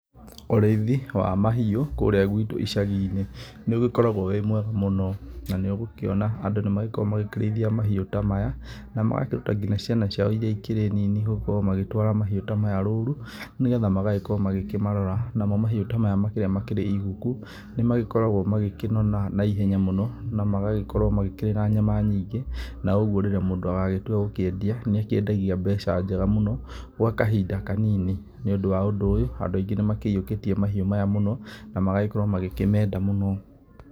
Ũrĩithi wa mahiũ kũrĩa gwitũ icagi-inĩ nĩ ũgĩkoragwo wĩ mwega mũno na nĩ ũgũkĩona andũ nĩ magĩkoragwo magĩkĩrĩithia mahiũ ta maya na magakĩruta nginya ciana ciao iria ikĩrĩ nini gũkorwo magĩtwara mahiũ ta maya rũru nĩgetha magagĩkorwo magĩkĩmarora, namo mahiũ ta maya makĩrĩa marĩa makĩrĩ iguku, nĩ magĩkoragwo magĩkĩnora na ihenya mũno na magagĩkorwo makĩrĩ na nyama nyingĩ na ũguo rĩrĩa mũndũ agagĩtua gũkĩendia nĩ akĩendagia mbeca njega mũno gwa kahinda kanini, nĩũndũ wa ũndũ ũyũ andũ aingĩ nĩ makĩyũkĩtie mahiũ maya mũno, na magagĩkorwo magĩkĩmenda mũno.